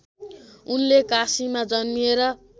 उनले काशीमा जन्मिएर